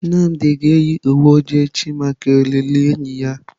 Nnamdi ga-eyi uwe ojii echi maka olili enyi ya.